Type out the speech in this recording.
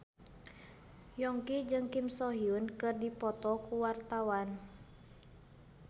Yongki jeung Kim So Hyun keur dipoto ku wartawan